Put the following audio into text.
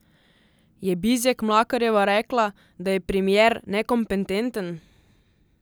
Je Bizjak Mlakarjeva rekla, da je premier nekompetenten?